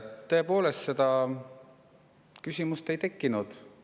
Tõepoolest, seda küsimust ei tekkinud.